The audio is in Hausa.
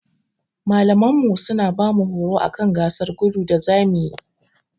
Malamanmu suna bamu horo akan gasar gudu da zamuyi.